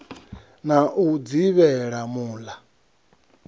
na u dzivhela mul a